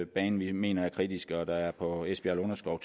banen vi mener er kritiske og der to på esbjerg lunderskov